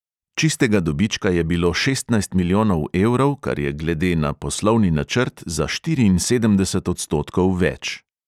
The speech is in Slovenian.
Čistega dobička je bilo šestnajst milijonov evrov, kar je glede na poslovni načrt za štiriinsedemdeset odstotkov več.